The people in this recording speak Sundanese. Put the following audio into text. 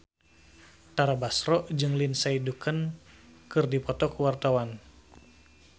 Tara Basro jeung Lindsay Ducan keur dipoto ku wartawan